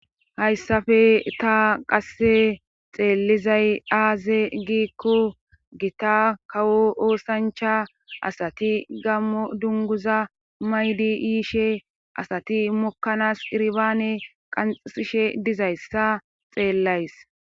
hayssafe ta qasse xeellizay aaze giikko gita kawo oosancha asati gammo dunguza maydi yiishe asati mokkanas qirbaane qansishe dizayssa xeellays